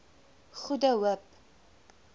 goede hoop